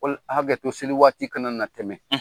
K' olu hakɛto seli waati kana na tɛmɛ;